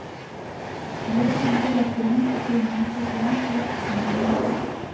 Misjafnt er eftir hundakynjum hversu langt ræktunin hefur náð.